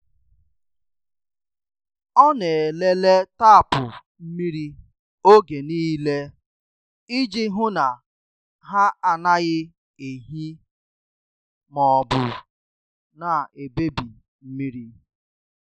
Ọ na- elele tapu mmiri oge niile iji hụ na ha anaghị ehi maọbụ na- ebebi mmiri.